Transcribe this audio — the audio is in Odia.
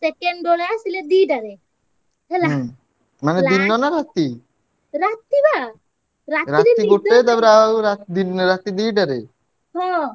Second ଦୋଳ ଆସିଲେ ଦିଟାରେ ହେଲା ରାତି ବା ହଁ।